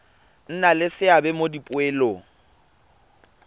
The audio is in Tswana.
nna le seabe mo dipoelong